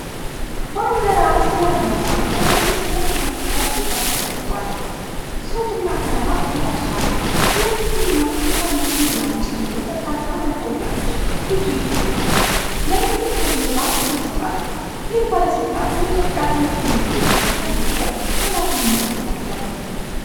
ባልድ ራስ ያለው ሰው በፕሬስ ኮንፈረንስ ጠረጴዛ ተቀምጧል። ሱት እና ክራቫት ለብሷል። የኢቲቪ እና ፋና ሚዲያን ጨምሮ በርካታ ማይክሮፎኖች ፊቱ ይገኛሉ። የመንግስት መግለጫ ይሰጣል። ይህ ባለስልጣን በኢትዮጵያ ትምህርት ሚኒስቴር ውስጥ ያለው ኃላፊነት ምን ነበር?